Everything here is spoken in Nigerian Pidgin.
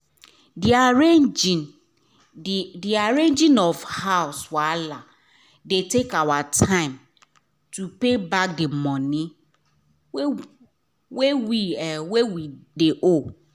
d arranging of house wahala de take our time to pay back d money wey we wey we de owe